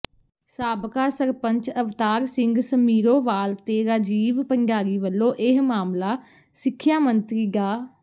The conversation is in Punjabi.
ਸਾਬਕਾ ਸਰਪੰਚ ਅਵਤਾਰ ਸਿੰਘ ਸਮੀਰੋਵਾਲ ਤੇ ਰਾਜੀਵ ਭੰਡਾਰੀ ਵੱਲੋਂ ਇਹ ਮਾਮਲਾ ਸਿੱਖਿਆ ਮੰਤਰੀ ਡਾ